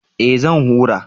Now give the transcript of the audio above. Eh zan hura